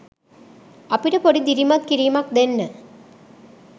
අපිට පොඩි දිරිමත් කිරීමක් දෙන්න